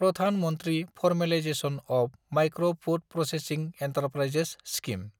Pradhan Mantri formalisation of micro food processing enterprises scheme